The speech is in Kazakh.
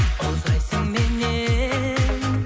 ұзайсың меннен